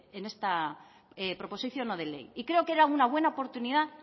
en esta proposición no de ley y creo que era una buena oportunidad